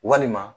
Walima